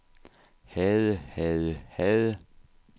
havde havde havde